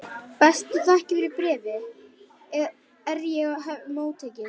Bestu þakkir fyrir bréfið er ég hef móttekið.